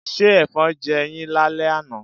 Ṣé Ẹ̀fọn jẹ yín lálẹ́ àná?